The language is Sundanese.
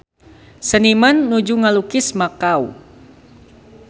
Seniman nuju ngalukis Makau